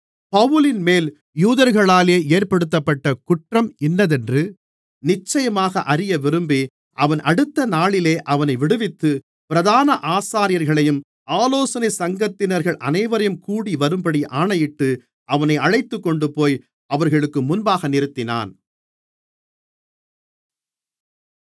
பவுலின்மேல் யூதர்களாலே ஏற்படுத்தப்பட்ட குற்றம் இன்னதென்று நிச்சயமாக அறியவிரும்பி அவன் அடுத்தநாளிலே அவனை விடுவித்து பிரதான ஆசாரியர்களையும் ஆலோசனைச் சங்கத்தினர்கள் அனைவரையும் கூடிவரும்படி ஆணையிட்டு அவனை அழைத்துக்கொண்டுபோய் அவர்களுக்கு முன்பாக நிறுத்தினான்